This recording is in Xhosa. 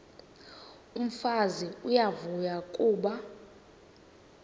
umfazi uyavuya kuba